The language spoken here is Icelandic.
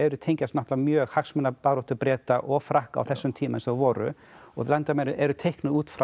tengjast náttúrulega mjög hagsmunabaráttu Breta og Frakka á þessum tímum sem voru og landamærin eru teiknuð út frá